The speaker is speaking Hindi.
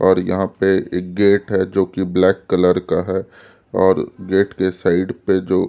और यहाँ पे एक गेट है जो कि ब्लैक कलर का है और गेट के साइड पे जो--